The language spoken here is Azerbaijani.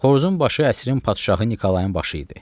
Xoruzun başı əsrin padşahı Nikolayın başı idi.